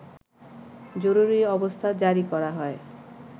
জরুরি অবস্থা জারি করা হয়